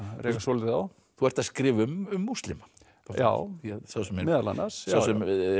rekast svolítið á þú ert að skrifa um múslima já já meðal annars sá sem